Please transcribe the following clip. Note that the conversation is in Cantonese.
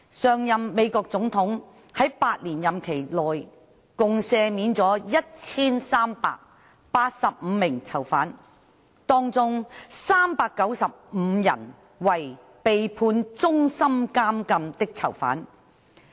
上任美國總統在8年任期內共赦免了1385名囚犯，當中395人為被判終身監禁的囚犯。